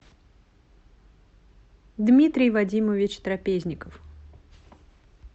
дмитрий вадимович трапезников